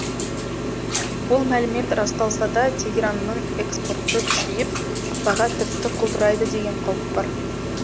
ол мәлімет расталса да тегеранның экспорты күшейіп баға тіпті құлдырайды деген қауіп бар